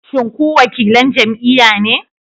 Shin ku wakilan jam'iyya ne?